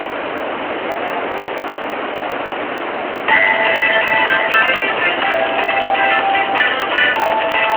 Da Rabe da Sani ba su da sauran ƙima a idon jama'a saboda dabi'unsu munana